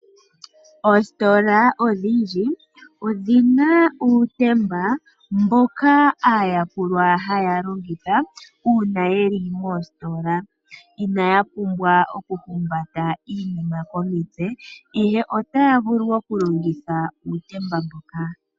Oostola odhindji odhina uutemba mboka aayakulwa haya longitha , uuna yeli moostola ina ya pumbwa okuhumba iinima komitse ihe otaya vulu okulongitha uutemba mboka.